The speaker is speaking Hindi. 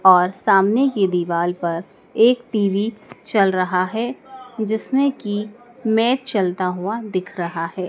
और सामने की दिवाल पर एक टी_वी चल रहा है जिसमें की मैच चलता हुआ दिख रहा है।